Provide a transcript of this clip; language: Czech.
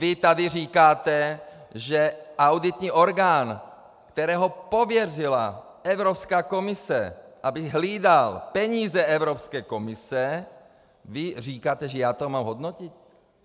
Vy tady říkáte, že auditní orgán, který pověřila Evropská komise, aby hlídal peníze Evropské komise, vy říkáte, že já to mám hodnotit?